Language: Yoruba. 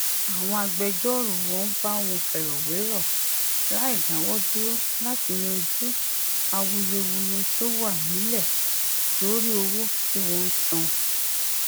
àwọn agbẹjórò wọn bá wọn fèròwérò láìdáwódúró láti yanjú awuyewuye tó wà nílè lórí owó tí wón ń san